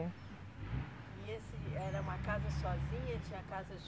E esse era uma casa sozinha? Tinha casas